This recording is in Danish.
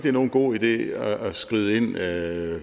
er nogen god idé at skride ind ad